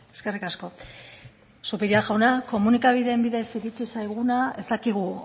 eskerrik asko zupiria jauna komunikabideen bidez iritsi zaiguna ez dakigu